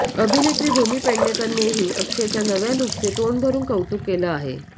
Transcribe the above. अभिनेत्री भूमी पेडणेकरनेही अक्षयच्या नव्या लूकचे तोंडभरुन कौतुक केलं आहे